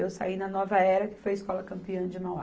Eu saí na Nova Era, que foi a escola campeã de Mauá.